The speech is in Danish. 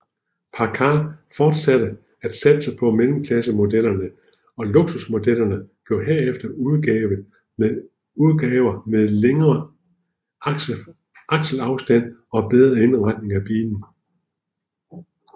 Packard fortsatte at satse på mellemklassemodellerne og luksusmodellerne blev herefter udgaver med længere akselafstand og bedre indretning af kabinen